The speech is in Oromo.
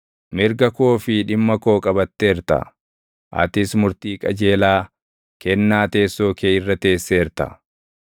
Mirga koo fi dhimma koo qabatteerta; atis murtii qajeelaa kennaa teessoo kee irra teesseerta.